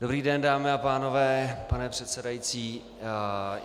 Dobrý den, dámy a pánové, pane předsedající.